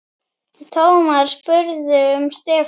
Thomas spurði um Stefán.